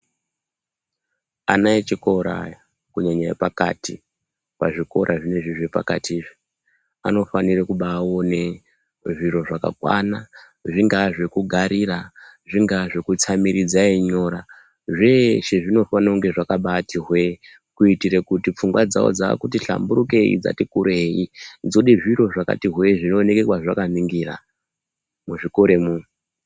Ana echikora aya kunyanya epakati ,pazvikora zvinezve zvepakati unofanire kubaone zviro zvakakwana zvinga zvekugarira , zvinga zvekutsamiridza einyora zveshe zvinofane kunge zvakabati hwe kuitire kuti pfungwa dzawo dzakuti hlamburukeyi dzati kurei dzose zviro zvakati hwe zvinooneneke kwazvakaningira muzvikoremwo.